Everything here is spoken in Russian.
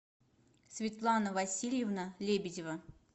светлана васильевна лебедева